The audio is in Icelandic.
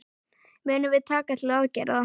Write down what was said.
Munum við taka til aðgerða?